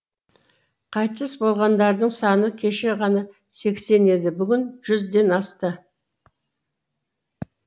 қайтыс болғандардың саны кеше ғана сексен еді бүгін жүзден асты